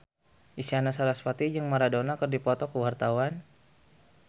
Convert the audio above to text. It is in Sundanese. Isyana Sarasvati jeung Maradona keur dipoto ku wartawan